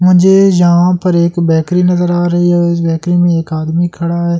मुझे जहां पे एक ब्रेकरी नजर आ रही है और इस ब्रेकरी में एक आदमी खड़ा है ऐं--